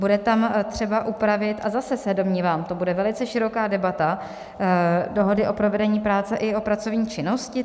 Bude tam třeba upravit, a zase se domnívám, to bude velice široká debata, dohodu o provedení práce i o pracovní činnosti.